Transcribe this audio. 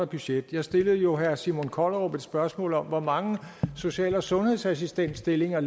budget jeg stillede jo herre simon kollerup et spørgsmål om hvor mange social og sundhedsassistentstillinger